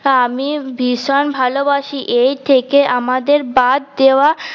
আমি ভিষন ভালোবাসি এই থেকে আমাদের বাদ দেওয়া